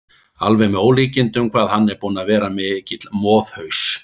Alveg með ólíkindum hvað hann er búinn að vera mikill moðhaus!